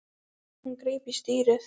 Hún greip í stýrið.